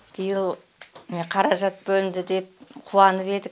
биыл міне қаражат бөлінді деп қуанып едік